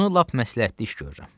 Bunu lap məsləhətli iş görürəm.